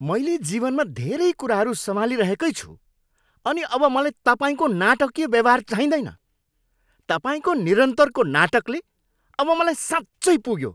मैले जीवनमा धेरै कुराहरू सम्हालिरहेकै छु अनि अब मलाई तपाईँको नाटकीय व्यवहार चाहिँदैन। तपाईँको निरन्तरको नाटकले अब मलाई साँच्चै पुग्यो।